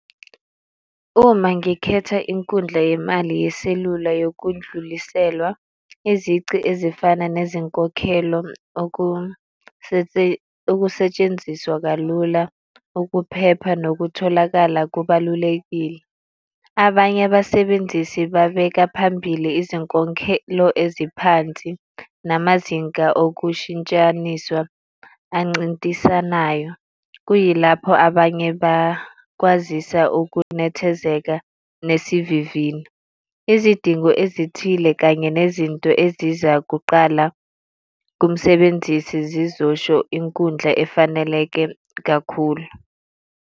Uma ngikhetha inkundla yemali yeselula yokundluliselwa izici ezifana nezinkokhelo okusetshenziswa kalula, ukuphepha nokutholakala kubalulekile. Abanye abasebenzisi babeka phambili izinkokhelo eziphansi namazinga okushintshaniswa ancintisanayo. Kuyilapho abanye bakwazisa ukunethezeka nesivivino. Izidingo ezithile kanye nezinto ezizakuqala komsebenzisi zizosho inkundla ezifaneleke kakhulu.